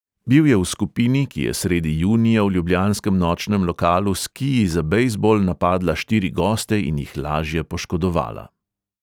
Bil je v skupini, ki je sredi junija v ljubljanskem nočnem lokalu s kiji za bejzbol napadla štiri goste in jih lažje poškodovala.